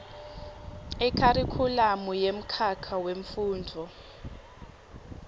ikharikhulamu yemkhakha wemfundvo